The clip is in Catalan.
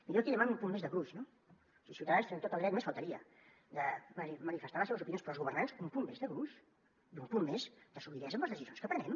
i jo aquí demano un punt més de gruix no els ciutadans tenen tot el dret només faltaria de manifestar les seves opinions però els governants un punt més de gruix i un punt més de solidesa en les decisions que prenem